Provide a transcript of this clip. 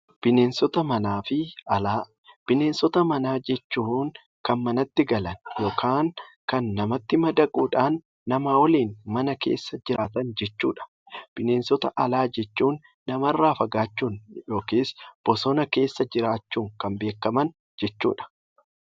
Bineensota manaa fi Alaa, bineensota manaa jechuun Kan manatti galan yookaan Kan namatti madaquudhaan nama waliin mana keessa jiraatan jechuudha. Bineensota alaa jechuun namarraa fagaachuun yookiis bosona keessa jiraachuun Kan beekaman jechuudha.